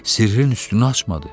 Sirrini üstünü açmadı.